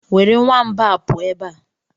Were nwamba a pụọ ebe a!